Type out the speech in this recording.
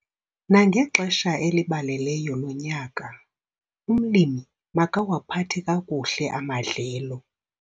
Nangexesha elibaleleyo lonyaka, umlimi makawaphathe kakuhle amadlelo.